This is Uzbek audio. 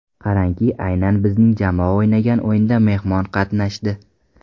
Qarangki, aynan bizning jamoa o‘ynagan o‘yinda mehmon qatnashdi.